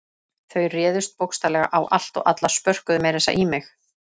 Þau réðust bókstaflega á allt og alla, spörkuðu meira að segja í mig.